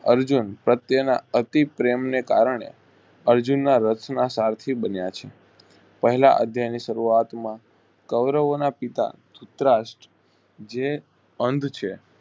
અર્જુન પ્રત્યેના અતિ પ્રરેમ ને કારણે અર્જુન ના રથના સારથી બન્યા છે પહેલા અધ્યાયની શરૂઆત માં કૌરવોના પિતા ધુતરાષ્ટ જે અંધ છે.